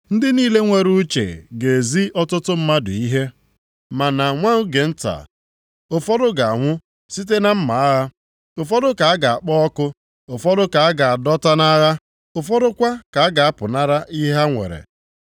“Ndị niile nwere uche ga-ezi ọtụtụ mmadụ ihe, ma na nwa oge nta, ụfọdụ ga-anwụ site na mma agha, ụfọdụ ka a ga-akpọ ọkụ, ụfọdụ ka a ga-adọta nʼagha, ụfọdụ kwa ka a ga-apụnara ihe ha nwere.